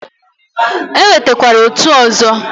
E nwekwara otu ọzọ.